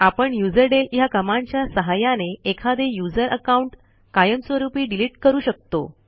आपण युझरडेल ह्या कमांडच्या सहाय्याने एखादे यूझर अकाऊंट कायमस्वरूपी डिलीट करू शकतो